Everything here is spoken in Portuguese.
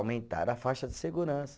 Aumentaram a faixa de segurança.